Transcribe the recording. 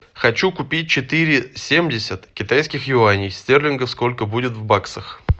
хочу купить четыре семьдесят китайских юаней стерлингов сколько будет в баксах